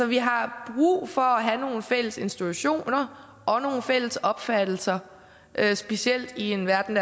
vi har brug for at have nogle fælles institutioner og nogle fælles opfattelser specielt i en verden